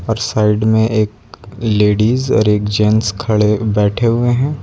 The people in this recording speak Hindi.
और साइड में एक लेडीज और एक जेंट्स खड़े बैठे हुए है।